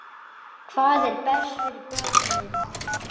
Hvað er best fyrir börnin?